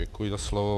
Děkuji za slovo.